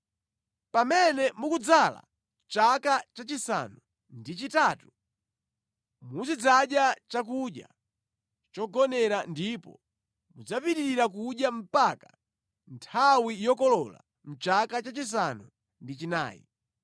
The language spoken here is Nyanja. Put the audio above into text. Pamene mukudzala chaka chachisanu ndi chitatu, muzidzadya chakudya chogonera ndipo mudzapitirira kudya mpaka nthawi yokolola mʼchaka chachisanu ndi chinayi.